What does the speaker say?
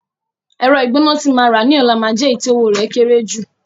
Ẹ̀rọ ìgbóná tí màá rà ní ọ̀la máa jẹ́ èyí tí owó rẹ̀ kéré jù